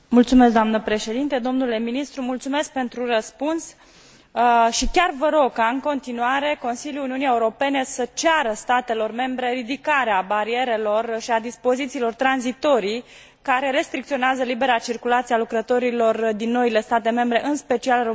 Dle ministru, mulțumesc pentru răspuns și chiar vă rog ca, în continuare, Consiliul Uniunii Europene să ceară statelor membre ridicarea barierelor și a dispozițiilor tranzitorii care restricționează libera circulație a lucrătorilor din noile state membre, în special România și Bulgaria.